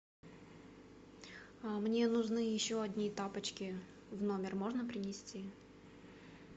мне нужны еще одни тапочки в номер можно принести